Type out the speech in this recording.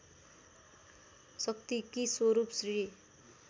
शक्तिकी स्वरूप श्री